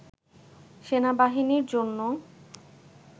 সেনাবাহিনীর জন্য